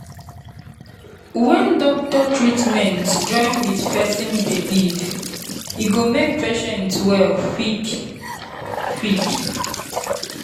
when doctor treatment join with person belief e go make patient well quick-quick.